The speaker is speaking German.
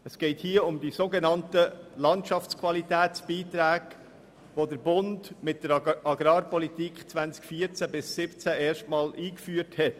Es geht hier um die sogenannten Landschaftsqualitätsbeiträge, welche der Bund mit der Agrarpolitik 2014– 2017 erstmals eingeführt hat.